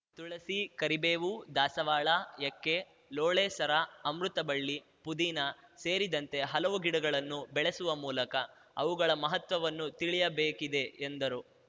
ತುಳಸಿ ಕರಿಬೇವು ದಾಸವಾಳ ಎಕ್ಕೆ ಲೋಳೆಸರ ಅಮೃತಬಳ್ಳಿ ಪುದಿನ ಸೇರಿದಂತೆ ಹಲವು ಗಿಡಗಳನ್ನು ಬೆಳಿಸುವ ಮೂಲಕ ಅವುಗಳ ಮಹತ್ವವನ್ನು ತಿಳಿಯಬೇಕಿದೆ ಎಂದರು